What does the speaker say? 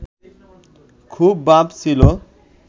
খুব ভাব ছিল